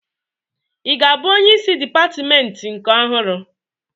Ị ga-abụ onyeisi dịpatmentị nke ọhụrụ?